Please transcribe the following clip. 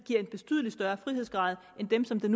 giver en betydelig større frihedsgrad end dem som den